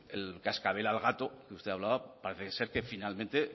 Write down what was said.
el cascabel al gato que usted hablaba parece ser que finalmente